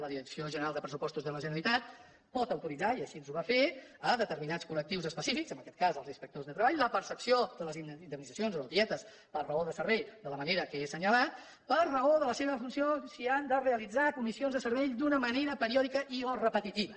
la direcció general de pressupostos de la generalitat pot autoritzar i així ho va fer determinats col·lectius específics en aquest cas els inspectors de treball la percepció de les indemnitzacions o les dietes per raó de servei de la manera que he assenyalat per raó de la seva funció si han de realitzar comissions de servei d’una manera periòdica i o repetitiva